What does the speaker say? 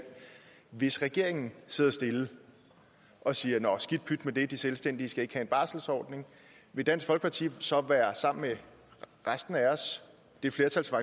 hvis regeringen sidder stille og siger nå skidt pyt med det de selvstændige skal ikke have en barselsordning vil dansk folkeparti så sammen med resten af os det flertal som